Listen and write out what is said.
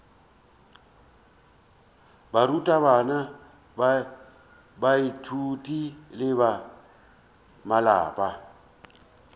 barutabana baithuti le ba malapa